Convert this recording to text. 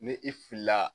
Ni i filila